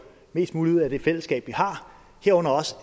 mest muligt ud af det fællesskab vi har herunder også